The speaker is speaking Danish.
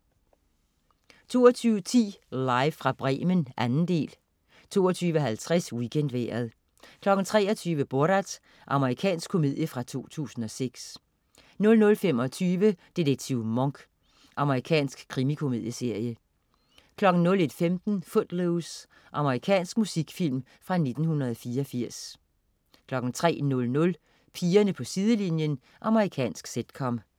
22.10 Live fra Bremen, 2. del 22.50 WeekendVejret 23.00 Borat. Amerikansk komedie fra 2006 00.25 Detektiv Monk. Amerikansk krimikomedieserie 01.15 Footloose. Amerikansk musikfilm fra 1984 03.00 Pigerne på sidelinjen. Amerikansk sitcom